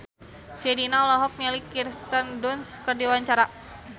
Sherina olohok ningali Kirsten Dunst keur diwawancara